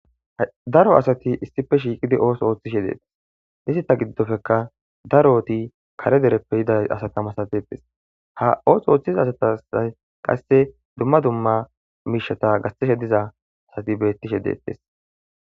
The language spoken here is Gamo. Daro asati issife shiiqidi ooso ooththishe deettes nisita giddofeka daro ooti kare dereppe yiday asata masatetes ha ooso ooththiza asatasay qasse dumma dumma miishata gastishe diza asati bettishe deettes.